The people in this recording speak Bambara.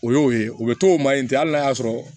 O y'o ye o bɛ to o ma in tɛ hali n'a y'a sɔrɔ